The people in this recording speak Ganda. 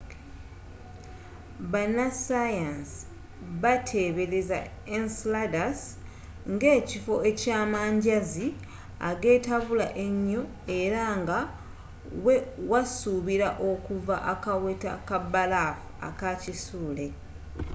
bannasayansi batebeereza enceladus ngekifo ky'amanjazi agetabula enyo era nga we wasubira okuva akaweta kabalafu aka kisuule